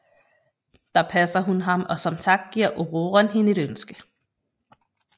Der passer hun ham og som tak giver Ororon hende et ønske